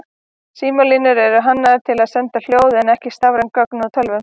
Símalínur eru hannaðar til að senda hljóð en ekki stafræn gögn úr tölvu.